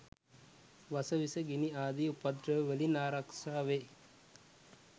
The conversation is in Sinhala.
වස විස, ගිනි ආදි උපද්‍රව වලින් ආරක්‍ෂාවේ.